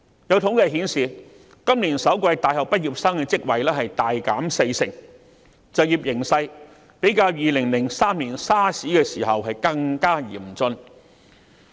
有統計顯示，今年首季大學畢業生的職位數目大減四成，就業形勢較2003年 SARS 時期更加嚴峻。